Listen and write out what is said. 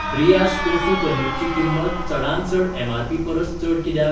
Breyers tofu paneer ची किंमत चडांत चड एमआरपी परस चड कित्याक?